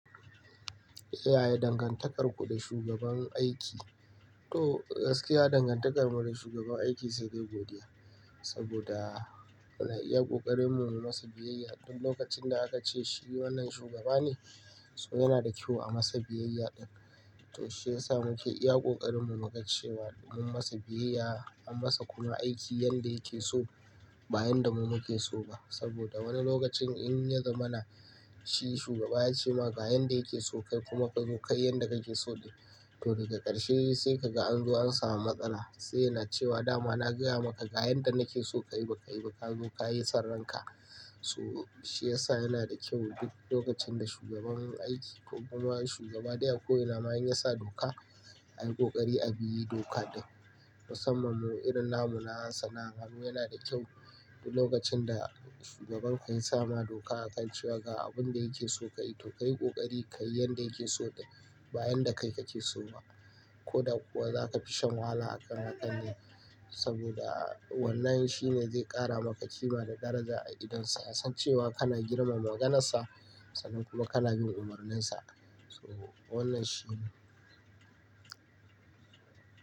Ya yi dangantakarku da shugaban aiki, to gaskiya dangantakarmu da shugaban aiki sai dai godiya. Saboda ya ƙoƙarin mu yi masa biyayya duk lokacin da aka ce shi wannan shugaba ne, so yana da kyau a masa biyayya ɗan. To shi ya sa muke iya ƙoƙarin mu muka ce wa, mun masa biyayya, an masa kuma aiki yadda yake so ba yadda mu muke so ba. Saboda wani lokacin in ya zama na shi shugaba ya ce maka ga yadda yake so kai kuma ka zo kayi yadda yake so ɗin. To daga ƙarshe sai kaga an zo an samu matsala sai yana cewa dama na gaya maka ga yadda nake so ka yi ba ka yi ba ka zo ka yi son ran ka. So shi ya sa yana da kyau duk lokacin da shugaban aiki ko kuma shugaba ɗaya ko yana ma in ya sa doka, a yi ƙoƙari a bi dokar ɗin. Musamman mu irin namu na Hausa na, mu yana da kyau duk lokacin da shugaban ka ya sama doka akan cewa ga abun da yake so ka yi to ka yi ƙoƙari ka yi yanda yake so ɗin ba yanda kai kake so ba. Ko da kuwa za ka fi shan wahala akan waƙar ne. Saboda wannan shi ne zai ƙara maka kima da daraja a gidansa. Ya san cewa kana girmama maganarsa sannan kuma kana bin umarninsa. So wannan shi ne.